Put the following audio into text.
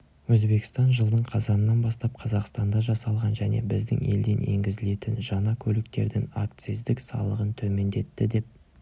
өзбекстан жылдың қазанынан бастап қазақстанда жасалған және біздің елден енгізілетін жаңа көліктердің акциздік салығын төмендетті деп